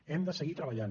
hem de seguir treballant